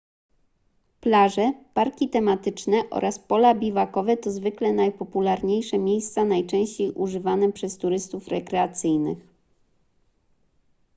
plaże parki tematyczne oraz pola biwakowe to zwykle najpopularniejsze miejsca najczęściej używane przez turystów rekreacyjnych